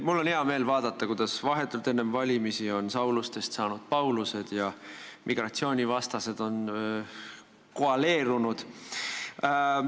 Mul on hea meel vaadata, kuidas vahetult enne valimisi on Saulustest saanud Paulused ja migratsioonivastased on koaleerunud.